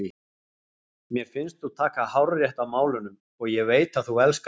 Mér finnst þú taka hárrétt á málunum og ég veit að þú elskar mig.